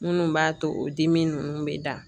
Minnu b'a to o dimi ninnu bɛ da